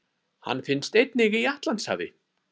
Hann finnst einnig í Atlantshafi.